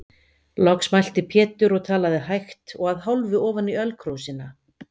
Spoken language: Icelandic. Loks mælti Pétur og talaði hægt og að hálfu ofan í ölkrúsina.